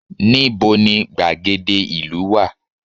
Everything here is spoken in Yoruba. Níbo ni gbàgede ìlú wá?